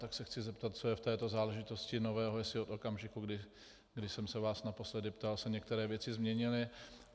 Tak se chci zeptat, co je v této záležitosti nového, jestli od okamžiku, kdy jsem se vás naposledy ptal, se některé věci změnily.